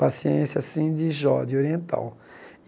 Paciência, assim, de Jó de oriental.